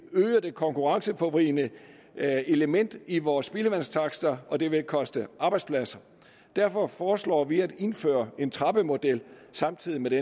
øge det konkurrenceforvridende element i vores spildevandstakster og det vil koste arbejdspladser derfor foreslår vi at indføre en trappemodel samtidig med det